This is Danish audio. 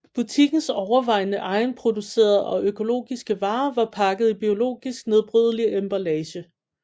Butikkens overvejende egenproducerede og økologiske varer var pakket i biologisk nedbrydelig emballage